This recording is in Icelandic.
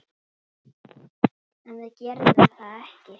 En við gerðum þetta ekki!